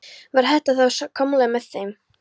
Varð þetta þá að samkomulagi með þeim.